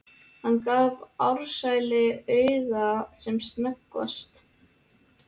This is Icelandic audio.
Hann gaf Ársæli auga sem snöggvast.